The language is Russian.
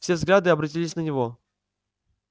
все взгляды обратились на него